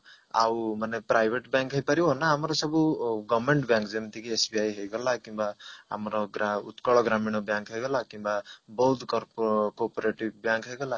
ଆଉ ମାନେ private bank ହେଇପାରିବ ନା ଆମର ସବୁ government bank ଯେମତି କି SBI ହେଇଗଲା କିମ୍ବା ଆମର ଗା ଉତ୍କଳ ଗ୍ରାମୀଣ bank ହେଇଗଲା କିମ୍ବା ବହୁତ କର୍ପ cooperative bank ହେଇଗଲା